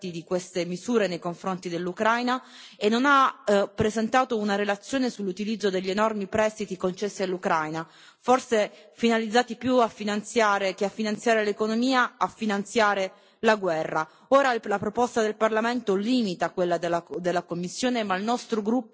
La Commissione non ha presentato alcuna valutazione di impatto sui possibili effetti di queste misure nei confronti dell'Ucraina e non ha presentato una relazione sull'utilizzo degli enormi prestiti concessi all'Ucraina, forse finalizzati più che a finanziare l'economia, a finanziare la guerra.